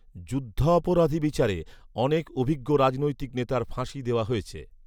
যুদ্ধঅপরাধী বিচারে অনেক অভিজ্ঞ রাজনৈতিক নেতার ফাঁসি দেওয়া হয়েছে